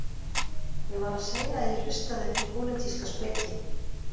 Ég var að segja að ég hlustaði ekki á pólitíska speki